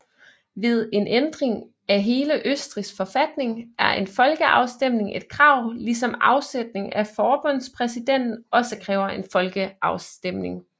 Ved en ændring af hele Østrigs forfatning er en folkeafstemning et krav ligesom afsætning af forbundspræsidenten også kræver en folkeafstemning